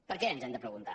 per què ens hem de preguntar